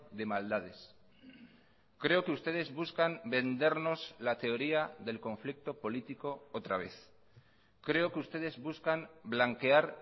de maldades creo que ustedes buscan vendernos la teoría del conflicto político otra vez creo que ustedes buscan blanquear